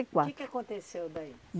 quatro. O que que aconteceu daí?